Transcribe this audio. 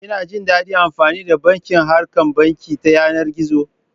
Kina jin daɗin amfani da bankin harkan banki ta yanar gizo?